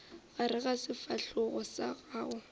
gare ga sefahlogo sa gago